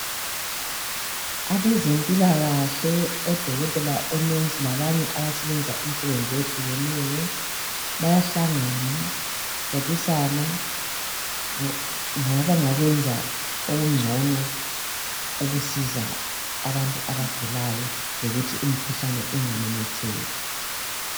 Abezempilakahle odokotela labo mongikazi labanye abasebenza imisebenzi eyehlukeneyo bayahlangana bebonisana ngabanga kwenza okugcono okusiza abantu abagulayo lokuthi imkhuhlane ingamemetheki.